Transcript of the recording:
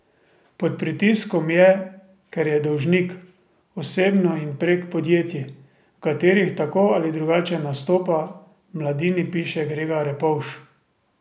Pod pritiskom je, ker je dolžnik, osebno in prek podjetij, v katerih tako ali drugače nastopa, v Mladini piše Grega Repovž.